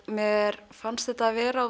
mér fannst þetta vera